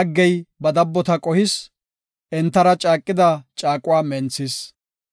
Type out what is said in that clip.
Ta laggey ba dabbota qohis; entara caaqida caaquwa menthis.